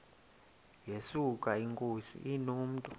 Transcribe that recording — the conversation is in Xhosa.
yesuka inkosi inomntu